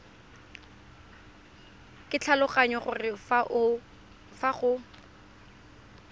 ke tlhaloganya gore fa go